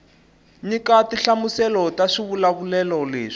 nyika tinhlamuselo ta swivulavulelo leswi